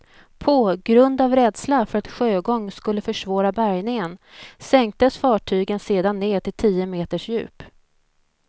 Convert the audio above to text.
På grund av rädsla för att sjögång skulle försvåra bärgningen sänktes fartyget sedan ned till tio meters djup.